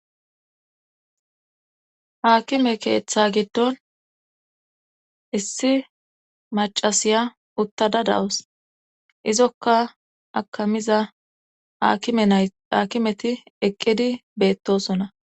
Haakime keeththa giddon issi macasiya uttada dawus izokka akamiza enayhakimeti eqqidi beettosona.